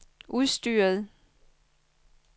udstyret